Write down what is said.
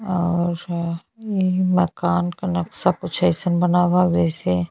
और एही मकान के नक्शा कुछ अइसन बना बा जैसे --